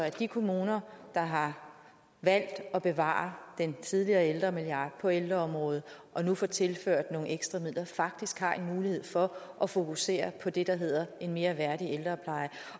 at de kommuner der har valgt at bevare den tidligere ældremilliard på ældreområdet og nu få tilført nogle ekstra midler faktisk har mulighed for at fokusere på det der hedder en mere værdig ældrepleje